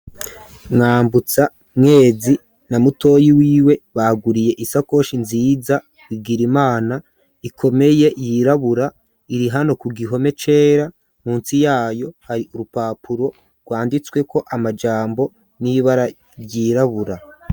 Mwambutsa mwezi na mutoyi wiwe baguriye isakoshi nziza Bigirimana ikomeye yirabura iri hano ku gihome cera munsi yayo hari urupapuro rwanditsweko amajambo nibara ryirabura.